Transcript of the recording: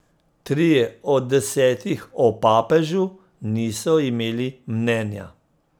Trije od desetih o papežu niso imeli mnenja.